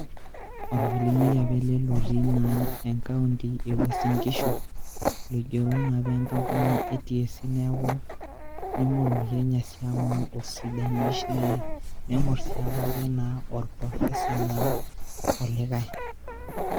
olmalumi apa ele lotii enkaunit ewuasin nkishu loigero naapa enkampunii ee TSC neme olmukenya siii osidani nemenasiake apake oprofesa olikai